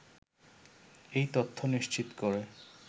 এই তথ্য নিশ্চিত করে